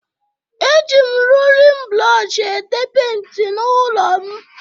Eji m rolin brọọshị ete penti n'ụlọ m